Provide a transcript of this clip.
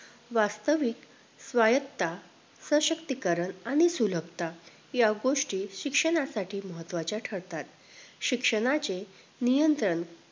वास्तविक, स्वायत्त, सशक्तीकरण आणि सुलभता या गोष्टी शिक्षणासाठी महत्वचे ठरतात